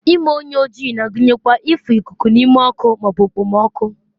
ime onye oji na-agụnyekwa ịfụ ikuku n'ime ọkụ ma ọ bụ okpomọkụ